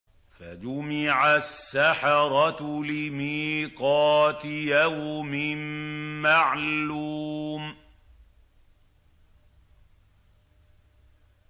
فَجُمِعَ السَّحَرَةُ لِمِيقَاتِ يَوْمٍ مَّعْلُومٍ